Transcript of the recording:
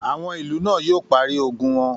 Àwọn ìlú náà yóò parí ogun wọn.